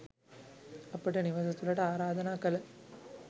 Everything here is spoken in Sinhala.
අපට නිවස තුළට ආරාධනා කළ